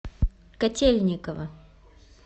котельниково